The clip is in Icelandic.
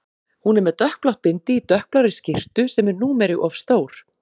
Hún er með dökkblátt bindi í dökkblárri skyrtu sem er númeri of stór.